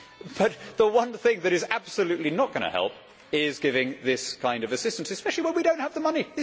But the one thing that is absolutely not going to help is giving this kind of assistance, especially when we do not have the money.